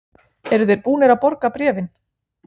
Eru þeir búnir að borga bréfin?